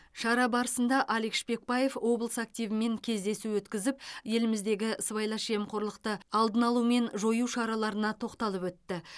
шара барысында алик шпекбаев облыс активімен кездесу өткізіп еліміздегі сыбайлас жемқорлықты алдын алу мен жою шараларына тоқталып өтті